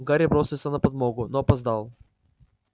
гарри бросился на подмогу но опоздал